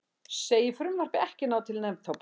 Segir frumvarpið ekki ná til neftóbaks